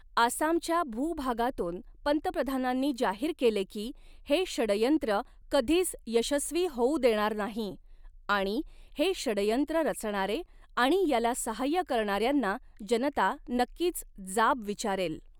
आसामच्या भूभागातून पंतप्रधानांनी जाहीर केले की, हे षडयंत्र कधीच यशस्वी होऊ देणार नाही आणि हे षडयंत्र रचणारे आणि याला सहाय्य करणाऱ्यांना जनता नक्कीच जाब विचारेल.